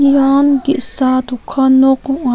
ian ge·sa dokan nok ong·a.